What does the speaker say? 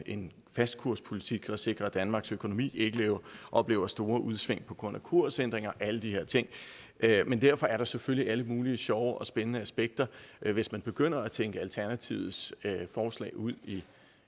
en fastkurspolitik for at sikre at danmarks økonomi ikke oplever store udsving på grund af kursændringer og alle de her ting men derfor er der selvfølgelig alle mulige sjove og spændende aspekter hvis man begynder at tænke alternativets forslag ud